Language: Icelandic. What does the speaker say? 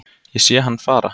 Ég sé hann fara